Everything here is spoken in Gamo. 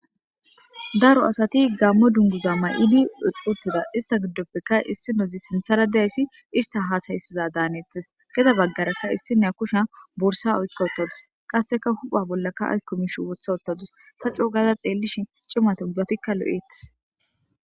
Daro asati gammo dunduza ma'idi uqutida ista giddoppeka issinozi sintsara deayssi ista haasayssiza daanettes geda baggaraka issine kushe bursa oykka wottadus qasseka hupha bollakka aykkomish wotha ottadus tacoo gaza xeellishin cimatun ubatikka lo'etes.